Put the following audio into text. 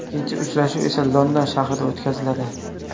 Ikkinchi uchrashuv esa London shahrida o‘tkaziladi.